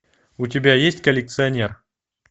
у тебя есть коллекционер